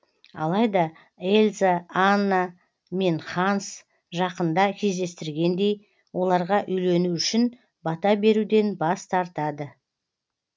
алайда эльза анна мен ханс жақында кездестіргендей оларға үйлену үшін бата беруден бас тартады